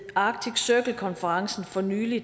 arctic circle konferencen for nylig